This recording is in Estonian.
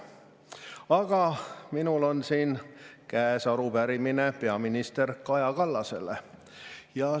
Aga minul on siin käes arupärimine peaminister Kaja Kallasele.